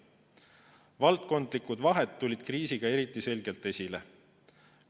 Valdkondlikud vahed tulid kriisiga eriti selgelt esile.